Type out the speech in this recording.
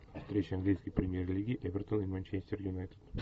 встреча английской премьер лиги эвертон и манчестер юнайтед